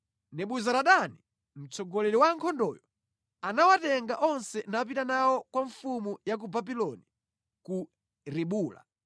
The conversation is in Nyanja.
Nebuzaradani, mtsogoleri wa ankhondoyo anawatenga onse napita nawo kwa mfumu ya ku Babuloni ku Ribula.